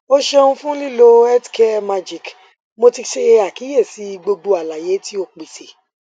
o ṣeun fun lilo healthcaremagic mo ti ṣe akiyesi gbogbo alaye ti o pese